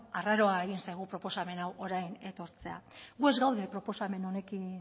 arraroa egin zaigu proposamen hau orain etortzea gu ez gaude proposamen honekin